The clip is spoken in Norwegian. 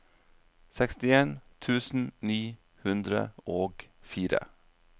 sekstien tusen ni hundre og fire